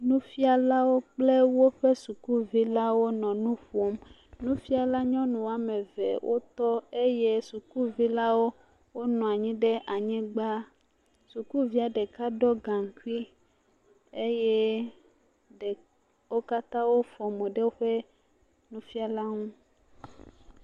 Nufialawo kple woƒe sukuvi lawo nɔ nuƒom nufiala nyɔnuwo ame eve tɔ eye sukuvi lawo nɔ anyi ɖe anyigbã sukuvi ɖeka ɖɔ gankui eye wo katã wofɔ mo ɖe nufiala nu